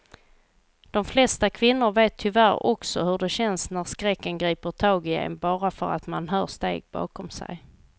De flesta kvinnor vet tyvärr också hur det känns när skräcken griper tag i en bara för att man hör steg bakom sig.